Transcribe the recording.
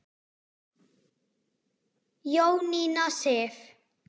Jónína Sif.